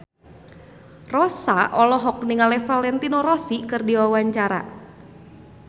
Rossa olohok ningali Valentino Rossi keur diwawancara